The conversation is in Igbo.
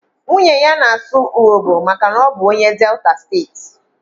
Nwunye ya na-asụ urhobo maka na ọ bụ onye Delta steeti.